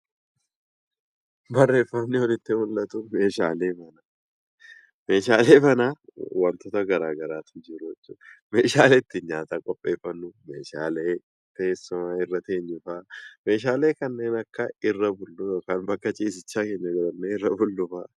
Meeshaaleen manaa wantoota garaa garaatu jiru. Meeshaalee ittiin nyaata qopheeffannu, meeshaalee irra teenyu, meeshaalee irra ciifnu fa'aa hammata.